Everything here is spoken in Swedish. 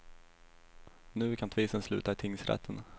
Nu kan tvisten sluta i tingsrätten.